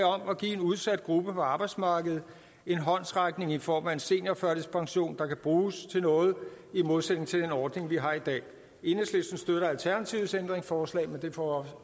om at give en udsat gruppe på arbejdsmarkedet en håndsrækning i form af en seniorførtidspension der kan bruges til noget i modsætning til den ordning vi har i dag enhedslisten støtter alternativets ændringsforslag men det får